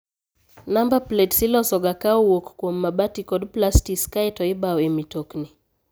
Namba plets iloso ga ka owuok kum mabati kod plastis kae to ibao e mitokni.